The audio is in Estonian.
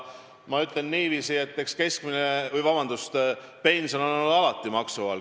Ma ütlen niiviisi, et pension on alati maksu all.